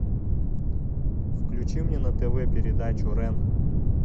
включи мне на тв передачу рен